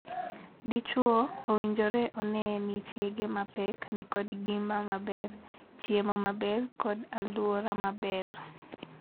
Dichwo owinjore onee ni chiege ma pek ni kod ngima maber, chiemo maber, kod aluora maber.